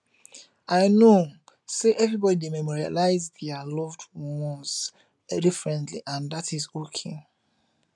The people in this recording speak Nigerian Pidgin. i know say everybody dey memorialize dia loved ones differently and dat is okay